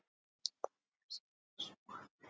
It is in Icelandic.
Það hefst með þessum orðum